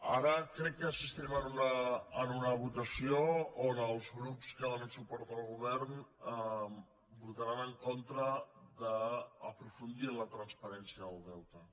ara crec que assistirem a una votació on els grups que donen suport al govern votaran en contra d’aprofundir en la transparència del deute